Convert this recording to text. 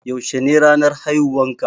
Yaushe ne ranar haihuwan ka